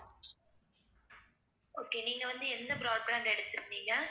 okay நீங்க வந்து எந்த broad brand எடுத்திருந்தீங்க